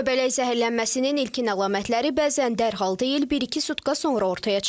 Göbələk zəhərlənməsinin ilkin əlamətləri bəzən dərhal deyil, bir-iki sutka sonra ortaya çıxır.